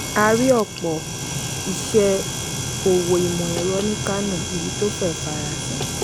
a rí ọ̀pọ̀ iṣẹ́ òwò ìmọ̀ ẹ̀rọ ní kano èyí tó fẹ́rẹ̀ẹ́ farasin.